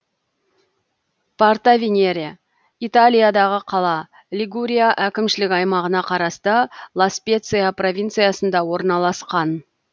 портовенере италиядағы қала лигурия әкімшілік аймағына қарасты ла специя провинциясында орналасқан